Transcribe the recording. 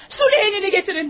Süleğeni gətirin!